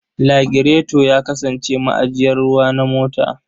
Lagireto ya kasance ma'ajiyar ruwa na mota.